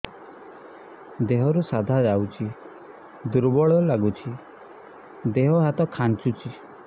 ଦେହରୁ ସାଧା ଯାଉଚି ଦୁର୍ବଳ ଲାଗୁଚି ଦେହ ହାତ ଖାନ୍ଚୁଚି